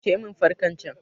Kashe min fankar can!